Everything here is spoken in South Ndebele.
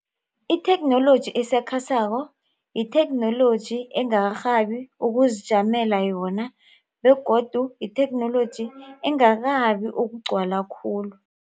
Itheknoloji esakhasako yitheknoloji engakarhabi ukuzijamela yona begodu yitheknoloji engakabi ukugcwala khulu.